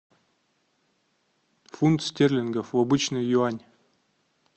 фунт стерлингов в обычный юань